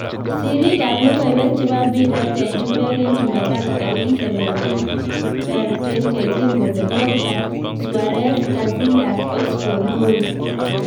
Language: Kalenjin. Sirrik ab lokoiwek chebo mpiret en chumbek en chumatatu tarikit17.12.2018 kole; Pogba, Suarez, Casillas, Oxford , Howe